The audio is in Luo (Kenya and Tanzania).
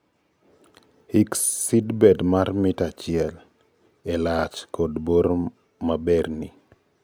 Hik seedbed mar mita achiel e lach kod bor maberni.